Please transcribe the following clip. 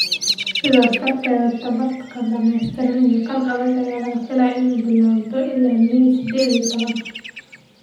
Sidaas darteed, tababarka dhameystiran iyo kan adag ayaa la filayaa inuu bilaabo ilaa May sided iyo towan.